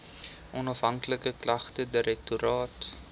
onafhanklike klagtedirektoraat